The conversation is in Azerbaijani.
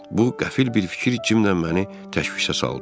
Bu qəfil bir fikir Cimlə məni təşvişə saldı.